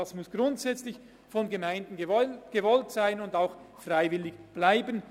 Es muss grundsätzlich von den Gemeinden gewollt sein und freiwillig bleiben.